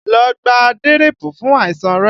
Lọ gba dírípù fún àìsàn rẹ!